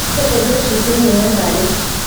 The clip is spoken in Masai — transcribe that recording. kelepi oshi sininye ntare